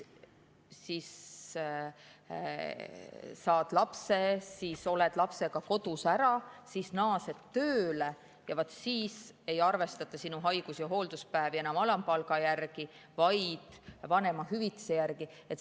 Saad lapse, oled lapsega kodus, siis naased tööle ja vaat siis ei arvestata sinu haigus‑ ja hoolduspäevi enam alampalga järgi, vaid vanemahüvitise järgi.